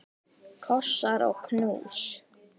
Kossar og knús.